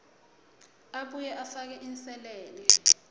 abuye afake inselele